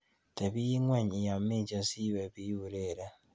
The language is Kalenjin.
Tebi ing'weny iamishe siwe biureren.